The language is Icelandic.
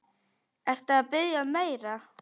Ertu að biðja um meira.